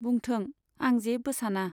बुंथों, आं जेबो साना।